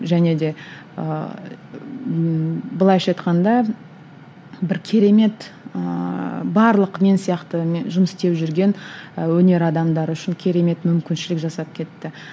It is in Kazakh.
және де ыыы былайша айтқанда бір керемет ыыы барлық мен сияқты жұмыс істеп жүрген ы өнер адамдары үшін керемет мүмкіншілік жасап кетті